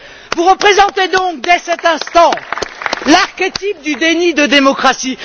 Vous représentez donc dès cet instant l'archétype du déni de démocratie.